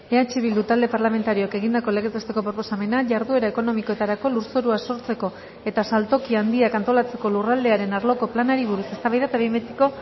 eh bildu talde parlamentarioak egindako legez besteko proposamena jarduera ekonomikoetarako lurzorua sortzeko eta saltoki handiak antolatzeko lurraldearen arloko planari buruz eztabaida eta behin betiko